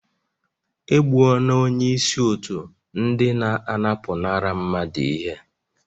E gbuola onye isi otu ndị na-anapụnara mmadụ ihe